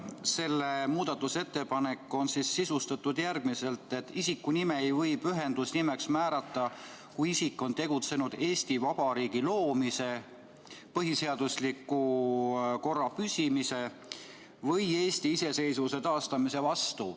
See muudatusettepanek on sisustatud järgmiselt, et isikunime ei või pühendusnimeks määrata, kui isik on tegutsenud Eesti Vabariigi loomise, põhiseadusliku korra püsimise või Eesti iseseisvuse taastamise vastu.